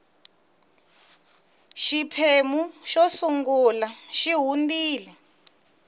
xiphemu xo sungula xi hundile